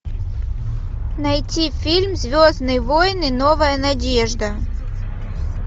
найти фильм звездные войны новая надежда